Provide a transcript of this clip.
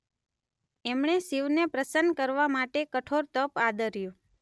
એમણે શિવને પ્રસન્ન કરવા માટે કઠોર તપ આદર્યું.